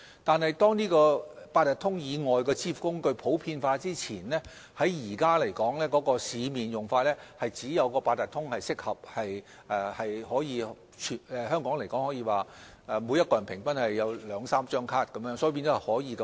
可是，在八達通以外的支付工具普及前，現時市面上只有八達通是較為合適的，因為每名香港人平均擁有兩三張八達通卡，易於使用。